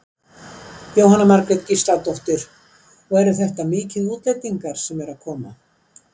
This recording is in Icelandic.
Jóhanna Margrét Gísladóttir: Og eru þetta mikið útlendingar sem eru að koma?